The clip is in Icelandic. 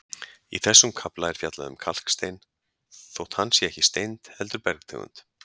Í þessum kafla er fjallað um kalkstein þótt hann sé ekki steind heldur bergtegund.